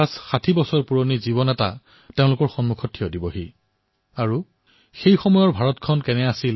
৪০৫০ বছৰৰ আগৰ ভাৰত কেনে আছিল